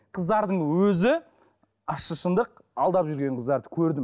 қыздардың өзі ащы шындық алдап жүрген қыздарды көрдім